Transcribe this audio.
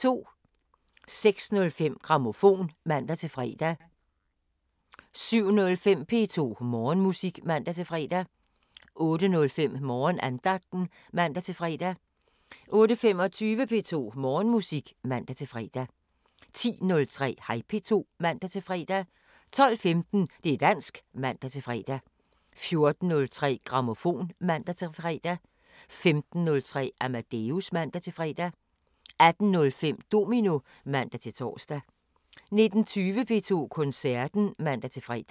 06:05: Grammofon (man-fre) 07:05: P2 Morgenmusik (man-fre) 08:05: Morgenandagten (man-fre) 08:25: P2 Morgenmusik (man-fre) 10:03: Hej P2 (man-fre) 12:15: Det´ dansk (man-fre) 14:03: Grammofon (man-fre) 15:03: Amadeus (man-fre) 18:05: Domino (man-tor) 19:20: P2 Koncerten (man-fre)